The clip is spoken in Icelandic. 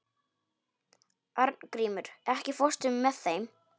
Arngrímur, ekki fórstu með þeim?